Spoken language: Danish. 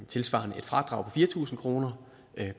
tilsvarende et fradrag på fire tusind kroner